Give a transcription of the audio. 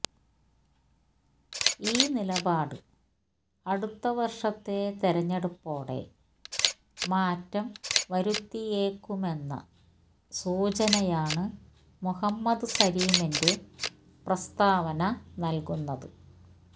ഈ നിലപാട് അടുത്ത വര്ഷത്തെ തിരഞ്ഞെടുപ്പോടെ മാറ്റം വരുത്തിയേക്കുമെന്ന സൂചനയാണ് മുഹമ്മദ് സലിമിന്റെ പ്രസ്തവന നല്കുന്നത്